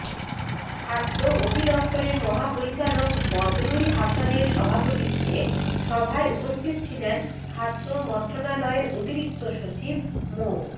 খাদ্য অধিদপ্তরের মহাপরিচালক বদরুল হাসানের সভাপতিত্বে সভায় উপস্থিত ছিলেন খাদ্য মন্ত্রণালয়ের অতিরিক্ত সচিব মো